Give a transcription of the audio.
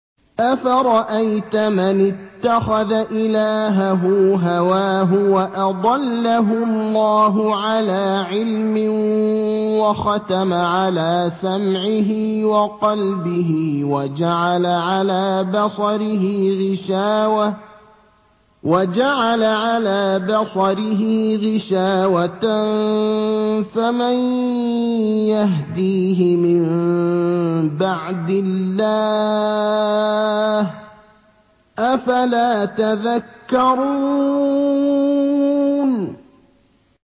أَفَرَأَيْتَ مَنِ اتَّخَذَ إِلَٰهَهُ هَوَاهُ وَأَضَلَّهُ اللَّهُ عَلَىٰ عِلْمٍ وَخَتَمَ عَلَىٰ سَمْعِهِ وَقَلْبِهِ وَجَعَلَ عَلَىٰ بَصَرِهِ غِشَاوَةً فَمَن يَهْدِيهِ مِن بَعْدِ اللَّهِ ۚ أَفَلَا تَذَكَّرُونَ